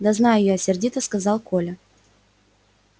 да знаю я сердито сказал коля